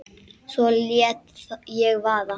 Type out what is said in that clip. Svo lét ég vaða.